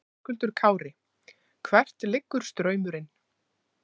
Höskuldur Kári: Hvert liggur straumurinn?